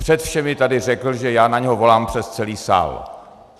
Před všemi tady řekl, že já na něho volám přes celý sál.